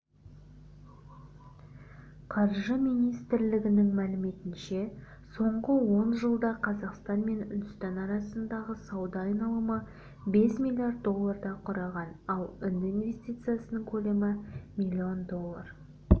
қаржы министрлігінің мәліметінше соңғы ол жылда қазақстан мен үндістан арасындағы сауда айналымы бес миллиард долларды құраған ал үнді инвестициясының көлемі миллион доллар